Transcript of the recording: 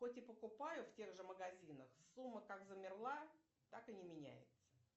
хоть и покупаю в тех же магазинах сумма как и замерла так и не меняется